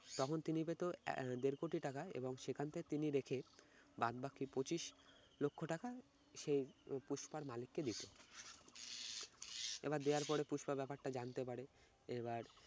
তখন তিনি পেত আহ দেড় কোটি টাকা এবং সেখান থেকে তিনি রেখে বাদবাকি পঁচিশ লক্ষ টাকা সে উম পুস্পার মালিককে দিত। এবার দেওয়ার পরে পুস্পা ব্যাপারটা জানতে পারে এবার